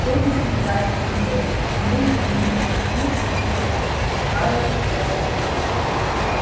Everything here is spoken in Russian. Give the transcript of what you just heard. поезд ныряет в туннель и смех звенит всё тише и тише затихает вдали